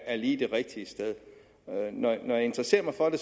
er lige det rigtige sted når jeg interesserer mig for det